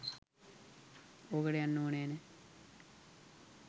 ඕකට යන්න ඕන නෑ.